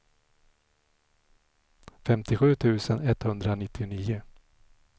femtiosju tusen etthundranittionio